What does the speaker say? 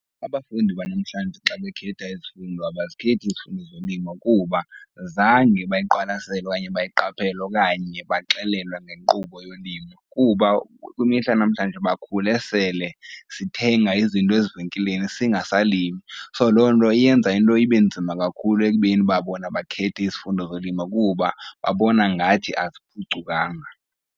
Abafundi banamhlanje xa bekhetha izifundo abazikhethi izifundo zolima kuba zange bayiqwalasela okanye bayiqaphela okanye baxelelwa ngenkqubo yolimo. Kuba kwimihla yanamhlanje bakhule sele sithenga izinto ezivenkileni singasalimi, so loo nto iyenza into ibe nzima kakhulu ekubeni uba bona bakhethe izifundo zolima kuba babona ngathi aziphucukanga.